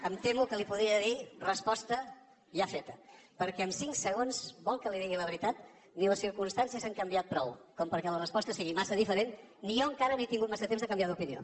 em temo que li podria dir resposta ja feta perquè en cinc segons vol que li digui la veritat ni les circumstàncies han canviat prou perquè la resposta sigui massa diferent ni jo encara no he tingut massa temps de canviar d’opinió